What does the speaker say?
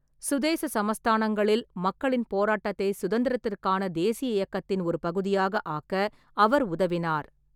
சுதேச சமஸ்தானங்களில் மக்களின் போராட்டத்தை சுதந்திரத்திற்கான தேசிய இயக்கத்தின் ஒரு பகுதியாக ஆக்க அவர் உதவினார்.